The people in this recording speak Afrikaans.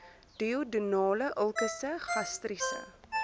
duodenale ulkusse gastriese